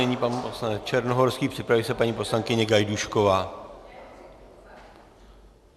Nyní pan poslanec Černohorský, připraví se paní poslankyně Gajdůšková.